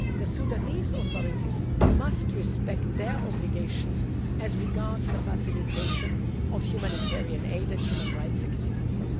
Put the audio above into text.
time. The Sudanese authorities must respect their obligations as regards the facilitation of humanitarian aid and human rights activities.